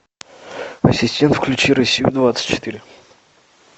ассистент включи россию двадцать четыре